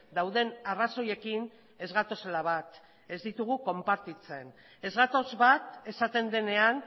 dauden arrazoiekin ez gatozela bat ez ditugu konpartitzen ez gatoz bat esaten denean